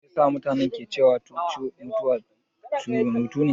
Me yasa mutane ke cewa mutuwa hutune?